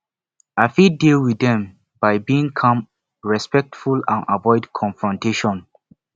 i fit deal with dem by being calm respectful and avoid confrontation